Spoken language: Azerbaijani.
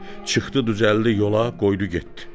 Çıxdı düzəldi yola, qoydu getdi.